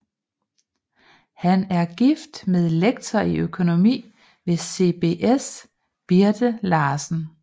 Han er gift med lektor i økonomi ved CBS Birthe Larsen